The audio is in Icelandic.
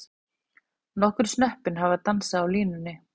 Nokkur snöppin hafa dansað á línunni.